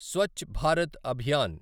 Swachh Bharat Abhiyan